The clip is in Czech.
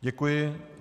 Děkuji.